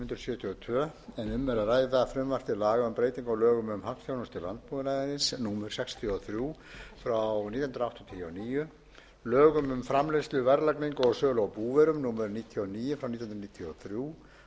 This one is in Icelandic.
laga um breytingu á lögum um hagþjónustu landbúnaðarins númer sextíu og þrjú nítján hundruð áttatíu og níu lögum um framleiðslu verðlagningu og sölu á búvörum númer níutíu og níu nítján hundruð níutíu og þrjú